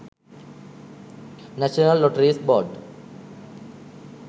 national lotteries board